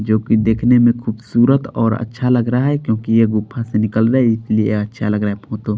जोकि देखने में खूबसूरत और अच्छा लग रहा है क्योंकि ये गुफा से निकल रहा है इसलिए अच्छा लग रहा है --